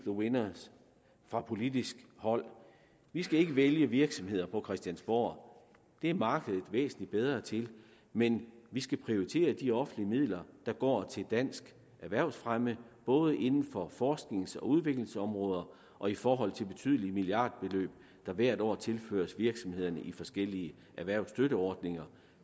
winners fra politisk hold vi skal ikke vælge virksomheder på christiansborg det er markedet væsentlig bedre til men vi skal prioritere de offentlige midler der går til dansk erhvervsfremme både inden for forsknings og udviklingsområder og i forhold til de betydelige milliardbeløb der hvert år tilføres virksomhederne i forskellige erhvervsstøtteordninger